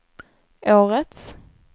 årets